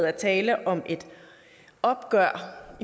er tale om et opgør